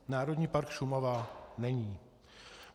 Národní park Šumava není.